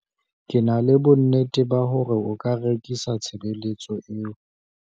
ke na le bonnete ba hore o ka rekisa tshebeletso eo